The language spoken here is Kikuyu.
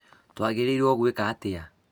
twagĩrĩirũo gwĩka atĩa?